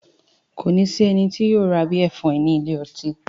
Kò ní sí ẹni tí yóò ra bíẹ̀ fún ẹ ní ilé ọtí